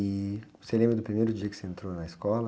E você lembra do primeiro dia que você entrou na escola?